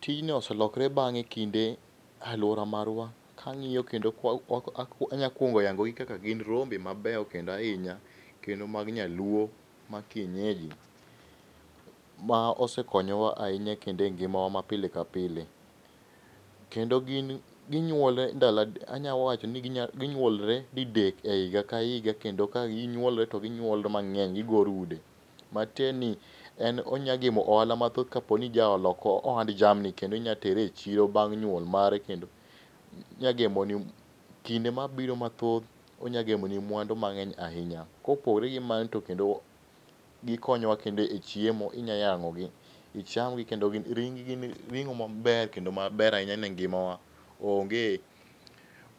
Tijni oselokre bang'e kinde e aluora marwa. Kang'iyo kendo kanya kuongo yangogi kaka gin rombe mabeyo kendo ahinya kendo mag nyaluo mag kienyeji ma osekonyowa ahinya kendo engimawa ma pile ka pile. Kendo gin ginyuolre ndalo adek anya wacho ni ginyuolre didek ehiga kahiga, kendo ka ginyuolre to ginyuolre mang'eny. Gigo rude, matiende ni en onyalo gemo ohala mathoth ka in jago ohand jamni, kendo inyalo tere ichiro bang' nyuol margi, onya gemoni kinde mabiro mathoth onya gemo i mwandu mang'eny ahinya. Kopogore gi mano to kendo gikonyowa kendo e chiemo. Inya yang'o gi, ichamgi kendo ring gi gin ring'o maber kendo maber ahinya ne ngimawa. Onge,